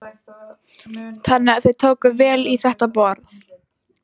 Þannig að þau tóku vel í þetta boð?